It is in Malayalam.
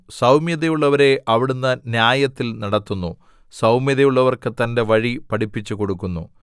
സൗമ്യതയുള്ളവരെ അവിടുന്ന് ന്യായത്തിൽ നടത്തുന്നു സൗമ്യതയുള്ളവർക്ക് തന്റെ വഴി പഠിപ്പിച്ചു കൊടുക്കുന്നു